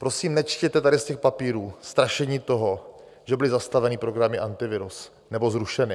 Prosím, nečtěte tady z těch papírů strašení toho, že byly zastaveny programy Antivirus nebo zrušeny.